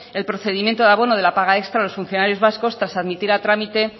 el procedimiento de abono de la paga extra a los funcionarios vascos tras admitir a trámite